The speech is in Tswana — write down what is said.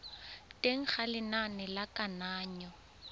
teng ga lenane la kananyo